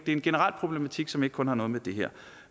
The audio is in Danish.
en generel problematik som ikke kun har med det her